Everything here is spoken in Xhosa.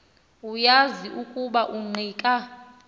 uyazi ukuba ungqika